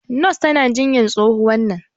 nurse tana jinyan tsohuwan nan